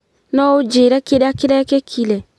Noũnjĩre kĩrĩa kĩrekĩkire?